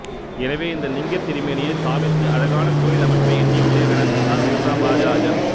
எனவே இந்த லிங்கத்திருமேனியை ஸ்தாபித்து அழகான கோயில் அமைக்க எண்ணியுள்ளேன் எனச் சொன்னார் மூன்றாம் ராஜராஜன்